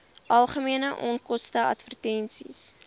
algemene onkoste advertensies